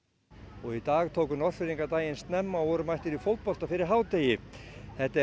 og í dag tóku Norðfirðinga daginn snemma og voru mættir í fótbolta fyrir hádegi þetta er